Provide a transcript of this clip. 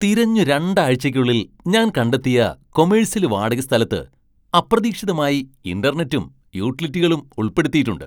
തിരഞ്ഞു രണ്ടാഴ്ചയ്ക്കുള്ളിൽ ഞാൻ കണ്ടെത്തിയ കൊമെഴ്സ്യല് വാടകസ്ഥലത്ത് അപ്രതീക്ഷിതമായി ഇന്റർനെറ്റും, യൂട്ടിലിറ്റികളും ഉൾപ്പെടുത്തിയിട്ടുണ്ട്.